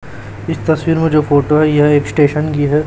इस तस्वीर में जो फोटो है यह एक स्टेशन की है।